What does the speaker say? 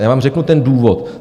A já vám řeknu ten důvod.